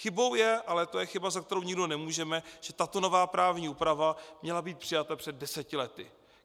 Chybou je, ale to je chyba, za kterou nikdo nemůžeme, že tato nová právní úprava měla být přijata před deseti lety.